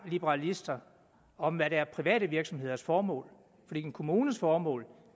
liberalister om hvad der er private virksomheders formål en kommunes formål